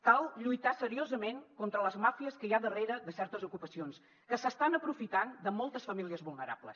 cal lluitar seriosament contra les màfies que hi ha darrere de certes ocupacions que s’estan aprofitant de moltes famílies vulnerables